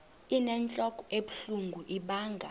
inentlok ebuhlungu ibanga